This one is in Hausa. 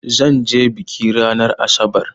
Zan je biki ranar asabar.